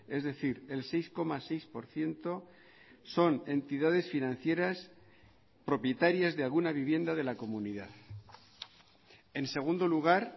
es decir el seis coma seis por ciento son entidades financieras propietarias de alguna vivienda de la comunidad en segundo lugar